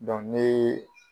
Dɔn ɲee